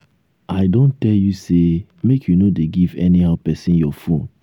i don tell you say make you no dey give anyhow person your phone